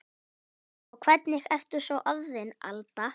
Og hvernig ertu svo orðin Alda.